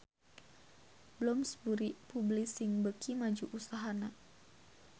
Bloomsbury Publishing beuki maju usahana